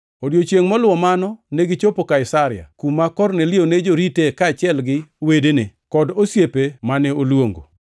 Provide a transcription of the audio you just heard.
Odiechiengʼ moluwo mano negichopo Kaisaria, kuma Kornelio ne jorite kaachiel gi wedene kod osiepene mane oluongo.